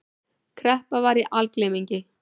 Kreppa var í algleymingi.